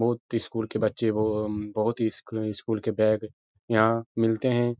बोहोत स्कूल के बच्चे हो। उम्म बोहोत ही स्क स्कूल के बैग यहाँ मिलते हैं।